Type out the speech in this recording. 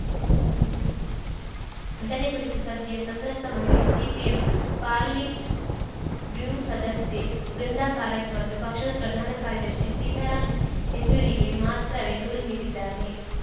ಘಟನೆ ಕುರಿತು ಸದ್ಯ ಸಂತ್ರಸ್ತ ಮಹಿಳೆ ಸಿಪಿಎಂ ಪಾಲಿಟ್‌ ಬ್ಯೂರ್‌ ಸದಸ್ಯೆ ಬೃಂದಾ ಕಾರಟ್‌ ಮತ್ತು ಪಕ್ಷದ ಪ್ರಧಾನ ಕಾರ್ಯದರ್ಶಿ ಸೀತಾರಾಂ ಯೆಚೂರಿಗೆ ಮಾತ್ರವೇ ದೂರು ನೀಡಿದ್ದಾರೆ